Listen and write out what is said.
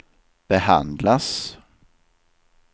behandlas